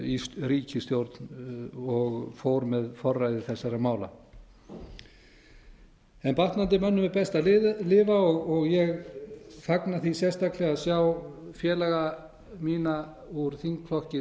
í ríkisstjórn og fór með forræði þessara mála batnandi mönnum er best að lifa og ég fagna því sérstaklega að sjá félaga mína úr þingflokki